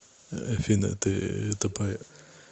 афина ты тупая